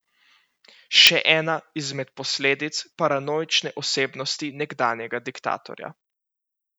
Še ena izmed posledic paranoične osebnosti nekdanjega diktatorja.